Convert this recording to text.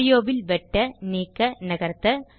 audio வில் வெட்ட நீக்க நகர்த்த